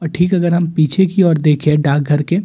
और ठीक अगर हम पीछे की ओर देखें डार्क घर के--